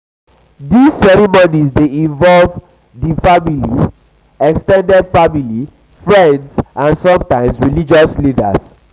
these ceremonies dey involve ceremonies dey involve di main family ex ten ded family friends and sometimes spiritual leaders